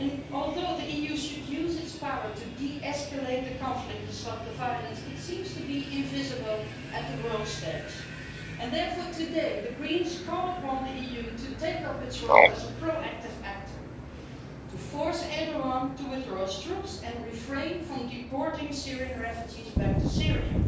Although the EU should use its power to de escalate the conflict and stop the violence, it seems to be invisible on the world stage and therefore today the Greens call upon the EU to take up its role as a proactive actor to force Erdoğan to withdraw his troops and refrain from deporting Syrian refugees back to Syria,